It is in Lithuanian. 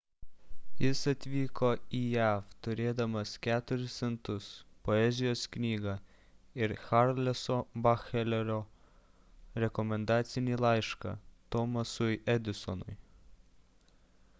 jis atvyko į jav turėdamas 4 centus poezijos knygą ir charleso batcheloro jo ankstesnio darbo vadovo rekomendacinį laišką thomasui edisonui